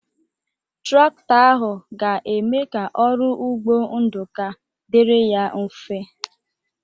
Traktọ ahụ ga-eme ka ọrụ ugbo Nduka dịrị ya mfe.